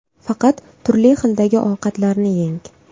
Faqat turli xildagi ovqatlarni yeng.